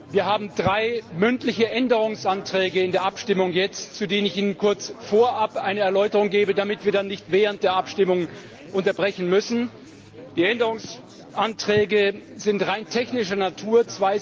Wir haben drei mündliche Änderungsanträge in der Abstimmung jetzt, zu denen ich Ihnen kurz vorab eine Erläuterung gebe, damit wir dann nicht während der Abstimmung unterbrechen müssen. Die Änderungsanträge sind rein technischer Natur.